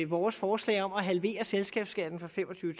vores forslag om at halvere selskabsskatten fra fem og tyve